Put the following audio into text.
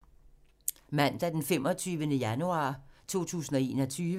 Mandag d. 25. januar 2021